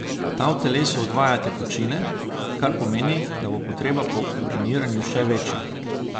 Ta v telesu odvaja tekočine, kar pomeni, da bo potreba po uriniranju še večja.